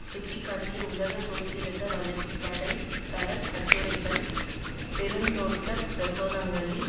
சுட்டி காட்டிய உலக சோசியலிச வலு வலை தளக் கட்டுரைகள் பெருந்தோட்ட பிரதேசங்களில்